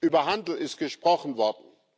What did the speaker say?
Über Handel ist gesprochen worden.